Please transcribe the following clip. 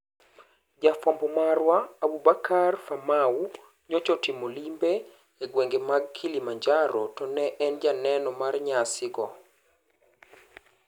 Jafwambo marwa Aboubakar Famau nyocha otimo limbe e gwenge mag Kilimanjaro to ne en janeno mar nyasi go.